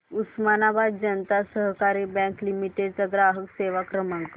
उस्मानाबाद जनता सहकारी bank limited चा ग्राहक सेवा क्रमांक